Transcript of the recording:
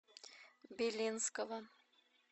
белинского